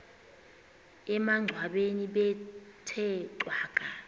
emangcwabeni bethe cwaka